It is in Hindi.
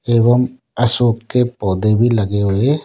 एवं अशोक के पौधे भी लगे हुए --